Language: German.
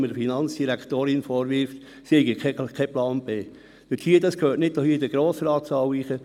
Der Finanzdirektorin vorzuwerfen, sie habe keinen Plan B, das gehört nicht in den Grossratssaal.